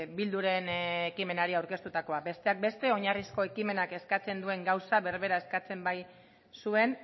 bilduren ekimenari aurkeztutakoa besteak beste oinarrizko ekimenak eskatzen duen gauza berbera eskatzen baitzuen